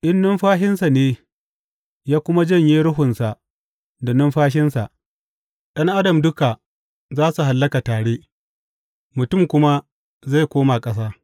In nufinsa ne ya kuma janye ruhunsa da numfashinsa, ’yan adam duka za su hallaka tare, mutum kuma zai koma ƙasa.